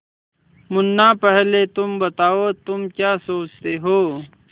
मुन्ना पहले तुम बताओ तुम क्या सोचते हो